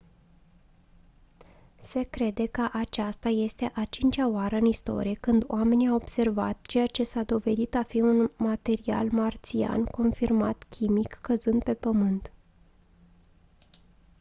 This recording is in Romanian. se crede că aceasta este a cincea oară în istorie când oamenii au observat ceea ce s-a dovedit a fi un material marțian confirmat chimic căzând pe pământ